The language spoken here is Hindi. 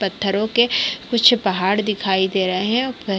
पत्थरो के कुछ पहाड़ दिखाई दे रहे हैं अ--